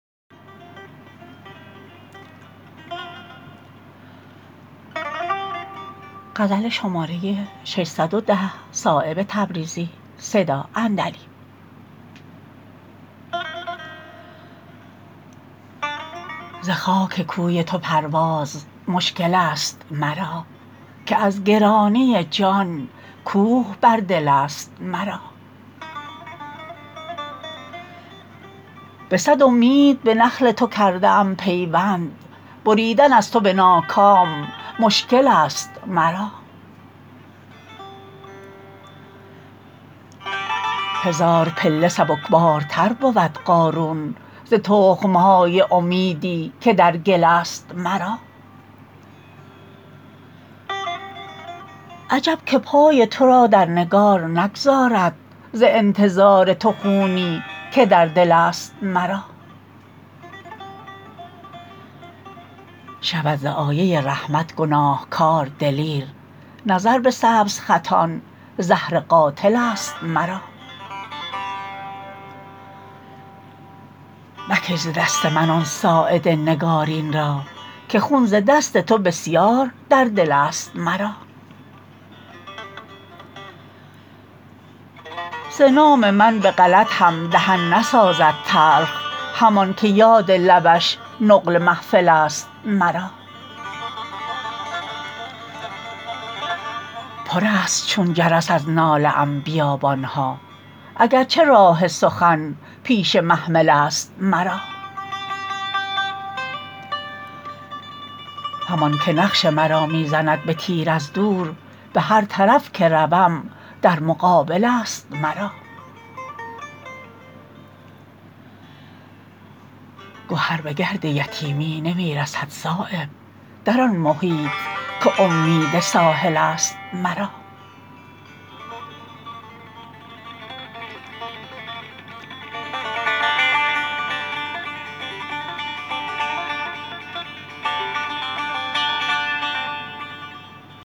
ز خاک کوی تو پرواز مشکل است مرا که از گرانی جان کوه بر دل است مرا به صد امید به نخل تو کرده ام پیوند بریدن از تو به ناکام مشکل است مرا هزار پله سبکبارتر بود قارون ز تخم های امیدی که در گل است مرا عجب که پای ترا در نگار نگذارد ز انتظار تو خونی که در دل است مرا شود ز آیه رحمت گناهکار دلیر نظر به سبزخطان زهر قاتل است مرا مکش ز دست من آن ساعد نگارین را که خون ز دست تو بسیار در دل است مرا ز نام من به غلط هم دهن نسازد تلخ همان که یاد لبش نقل محفل است مرا پرست چون جرس از ناله ام بیابان ها اگر چه راه سخن پیش محمل است مرا همان که نقش مرا می زند به تیر از دور به هر طرف که روم در مقابل است مرا گهر به گرد یتیمی نمی رسد صایب در آن محیط که امید ساحل است مرا